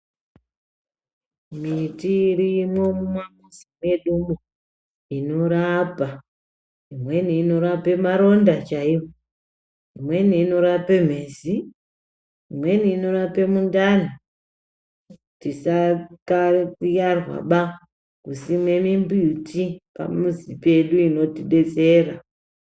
Miti irimwo mumamuzi mwedumwo inorapa. Imweni inorape maronda chaiwo, imweni inorape mhezi, imweni inorape mundani. Tisayiarwaba kusime mimbuti pamizi pedu inotidetsera.